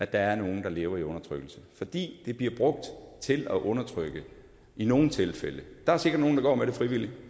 der er nogle der lever i undertrykkelse fordi det bliver brugt til at undertrykke i nogle tilfælde der er sikkert nogle der går med det frivilligt